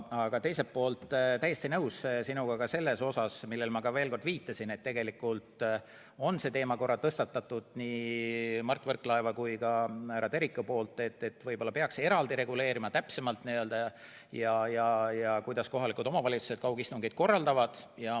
Aga teiselt poolt olen täiesti nõus sinuga ka selles osas, millele ma veel kord viitasin, et tegelikult on see teema korra tõstatatud nii Mart Võrklaeva kui ka härra Teriku poolt ja võib-olla peaks eraldi reguleerima, kuidas kohalikud omavalitsused kaugistungeid korraldavad.